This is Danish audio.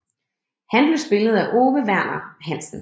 Han blev spillet af Ove Verner Hansen